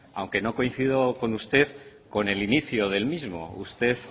aunque no coincido con usted con el inicio del mismo usted